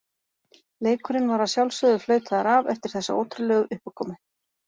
Leikurinn var að sjálfsögðu flautaður af eftir þessa ótrúlegu uppákomu.